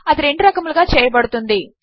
అది రెండు రకములుగా చేయబడుతుంది